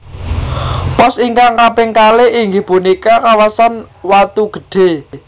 Pos ingkang kaping kalih inggih punika kawasan Watu Gede